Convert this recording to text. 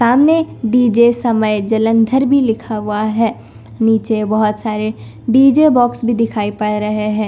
सामने डी_जे समय जलंधर भी लिखा हुआ है नीचे बहुत सारे डी_जे बॉक्स भी दिखाई पड़ रहे है।